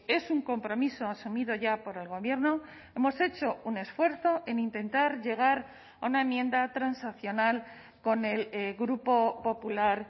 es un compromiso asumido ya por el gobierno hemos hecho un esfuerzo en intentar llegar a una enmienda transaccional con el grupo popular